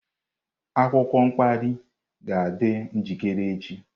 Akwụkwọ mkpali ga-adị njikere echi.